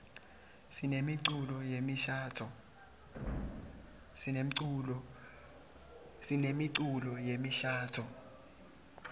sinemiculo yemishadvo